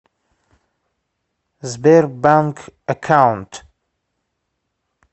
сбер банк эккаунт